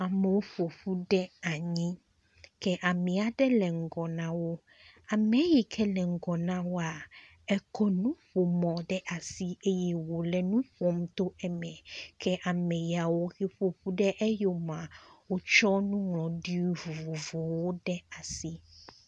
Amewo ƒoƒu ɖe anyi kea me aɖe le ŋgɔ na wo. Ame yi ke le ŋgɔ na woa ekɔ nuƒomɔ ɖe asi eye wo le nu ƒom to eme ke ame yawo he ƒoƒu ɖe eyomea wotsɔ nuŋlɔɖi vovovowo ɖe asi.